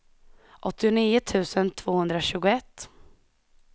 åttionio tusen tvåhundratjugoett